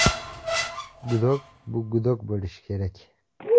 Gudok bu gudok bo‘lishi kerak.